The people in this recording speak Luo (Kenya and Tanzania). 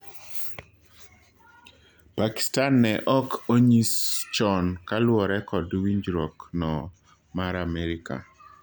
Pakistan ne ok onyis chon kaluore kod winjruok no mar Amerka.